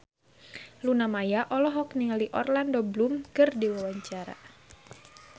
Luna Maya olohok ningali Orlando Bloom keur diwawancara